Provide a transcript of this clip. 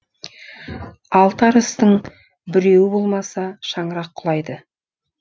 алты арыстың біреуі болмаса шаңырақ құлайды